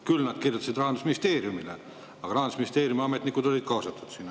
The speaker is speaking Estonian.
Küll nad kirjutasid Rahandusministeeriumile ja Rahandusministeeriumi ametnikud olid sinna kaasatud.